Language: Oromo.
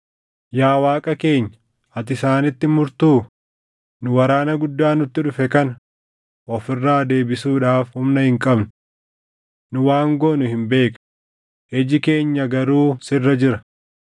Yaa Waaqa keenya ati isaanitti hin murtuu? Nu waraana guddaa nutti dhufe kana of irraa deebisuudhaaf humna hin qabnu. Nu waan goonu hin beeknu; iji keenya garuu sirra jira.”